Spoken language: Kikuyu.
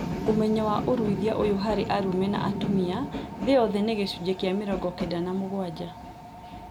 Ũmenyo wa ũruithia ũyũ harĩ arũme na atumia thĩ yothe nĩ gĩcunjĩ kĩa mĩrongo kenda na mũgwanja